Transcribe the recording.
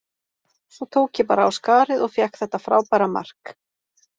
Svo tók ég bara á skarið og fékk þetta frábæra mark.,